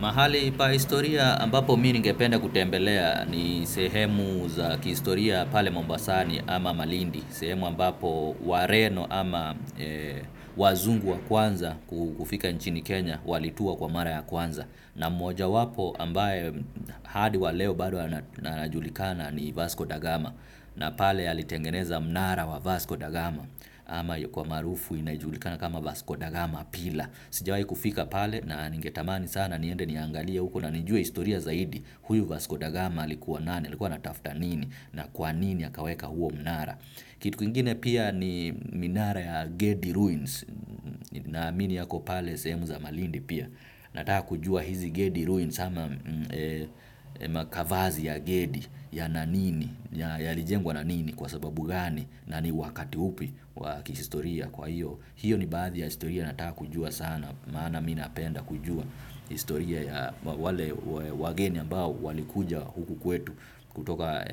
Mahali pa historia ambapo mimi ningependa kutembelea ni sehemu za kihistoria pale Mombasani ama Malindi. Sehemu ambapo wareno ama wazungu wa kwanza kufika nchini Kenya walitua kwa mara ya kwanza. Na mojawapo ambaye hadi wa leo bado anajulikana ni Vasco Da gama. Na pale alitengeneza mnara wa Vasco Da gama ama kwa maarufu inajulikana kama Vasco Da gama pillar. Sijawai kufika pale na ningetamani sana niende niangalie huko na nijue historia zaidi. Huyu Vasco da gama alikuwa nani, alikuwa anatafuta nini na kwa nini akaweka huo mnara. Kitu kingine pia ni minara ya Gedi Ruins naamini yako pale sehemu za malindi pia. Nataka kujua hizi Gedi Ruins ama makavazi ya Gedi yana nini, yalijengwa na nini kwa sababu gani na ni wakati upi wa kihistoria kwa hiyo. Hiyo ni baadhi ya historia nataka kujua sana maana mimi napenda kujua historia ya wageni ambao walikuja huku kwetu kutoka